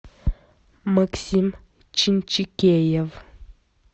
максим чинчикеев